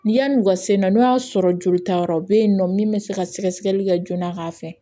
Ni yan'u ka se na sɔrɔ joli ta yɔrɔ bɛ yen nɔ min bɛ se ka sɛgɛsɛgɛli kɛ joona k'a fɛ